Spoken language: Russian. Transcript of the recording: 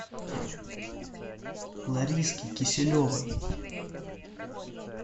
лариске киселевой